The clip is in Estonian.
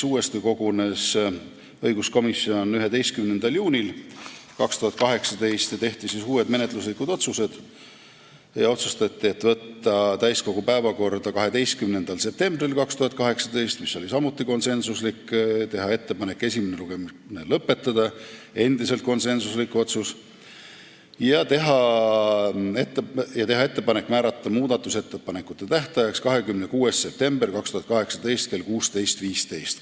Seega kogunes õiguskomisjon uuesti 11. juunil 2018, kui tehti ka uued menetluslikud otsused: võtta eelnõu täiskogu päevakorda 12. septembriks 2018 , teha ettepanek esimene lugemine lõpetada ja teha ettepanek määrata muudatusettepanekute tähtajaks 26. september 2018 kell 16.15 .